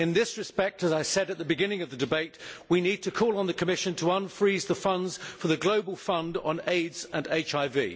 In this respect, as I said at the beginning of the debate, we need to call on the Commission to unfreeze the funds for the global fund on AIDS and HIV.